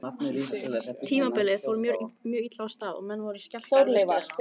Tímabilið fór mjög illa af stað og menn voru skelkaðir með stöðuna.